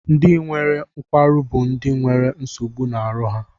Ndị nwere nkwarụ bụ ndị na nwere nsogbu na aru ha.